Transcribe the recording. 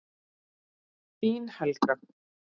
Þín, Helga.